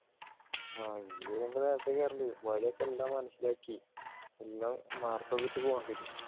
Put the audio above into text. ആഹ് ഇനി പോകുമ്പോ നേരത്തെ കേറേണ്ടി വരും വഴിയൊക്കെ എല്ലാം മനസിലാക്കി പിന്നെ ഇട്ടു പോകേണ്ടി വരും